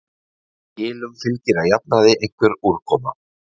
Skilum fylgir að jafnaði einhver úrkoma.